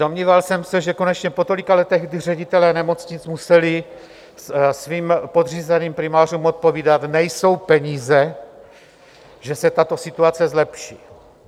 Domníval jsem se, že konečně po tolika letech, kdy ředitelé nemocnic museli svým podřízeným primářům odpovídat: nejsou peníze, že se tato situace zlepší.